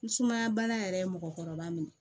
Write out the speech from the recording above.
Ni sumaya bana yɛrɛ ye mɔgɔkɔrɔba minɛ